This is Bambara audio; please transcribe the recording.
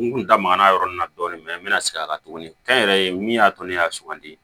N kun da magara yɔrɔ min na dɔɔnin n bɛna segin a kan tuguni kɛnyɛrɛye min y'a to ne y'a sugandi